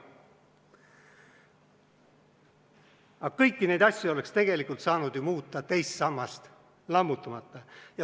Aga kõiki neid asju oleks tegelikult saanud ju muuta teist sammast lammutamata.